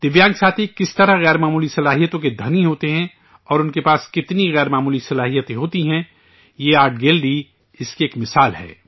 دویانگ ساتھی کس طرح غیر معمولی صلاحیتوں کے مالک ہوتے ہیں اور ان کے پاس کتنی غیر معمولی صلاحیتیں ہوتی ہیں یہ آرٹ گیلری اس کی ایک مثال ہے